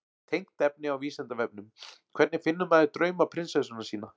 Tengt efni á Vísindavefnum: Hvernig finnur maður draumaprinsessuna sína?